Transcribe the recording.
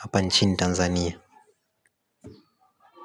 hapa nchini Tanzania.